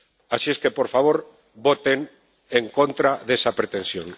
Así es que, por favor, voten en contra de esa pretensión.